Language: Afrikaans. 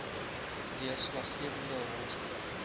deurslaggewende rol speel